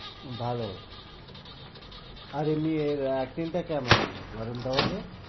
ভালো আর এমনি এর acting টা কেমন?